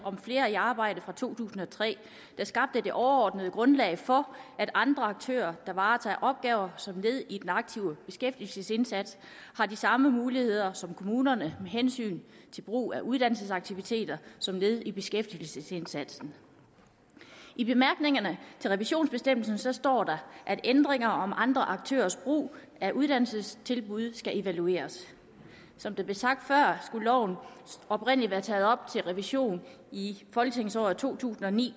flere i arbejde fra to tusind og tre der skabte det overordnede grundlag for at andre aktører der varetager opgaver som led i den aktive beskæftigelsesindsats har de samme muligheder som kommunerne med hensyn til brug af uddannelsesaktiviteter som led i beskæftigelsesindsatsen i bemærkningerne til revisionsbestemmelsen står der at ændringer om andre aktørers brug af uddannelsestilbud skal evalueres som det blev sagt før skulle loven oprindelig være taget op til revision i folketingsåret to tusind og ni